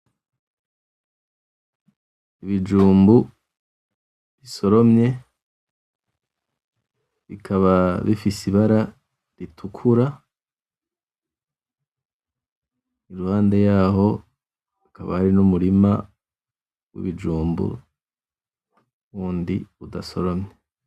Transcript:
Ibijumbu bisoromye bikaba bifise ibara ritukura. Iruhande yaho hakaba hari n'umurima w'ibijumbu wundi udasoromye.